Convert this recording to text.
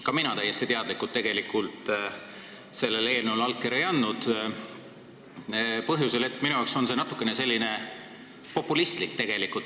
Ka mina täiesti teadlikult sellele eelnõule allkirja ei andnud – põhjusel, et minu jaoks on see natukene populistlik.